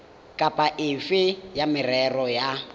kapa efe ya merero ya